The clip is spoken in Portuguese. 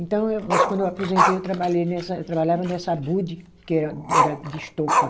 Então eu, mas quando eu aposentei, eu trabalhei nessa, eu trabalhava nessa Abud, que era era de estopa.